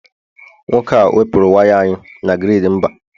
nwoke a wepuru waya anyị na grid mba